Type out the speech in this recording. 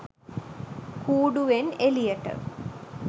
කූඩුවෙන් එළියට.